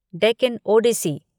Deccan Odissi